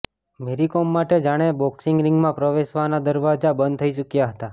મેરી કોમ માટે જાણે બોક્સિંગ રીંગમાં પ્રવેશવાના દરવાજા બંધ થઈ ચૂક્યા હતા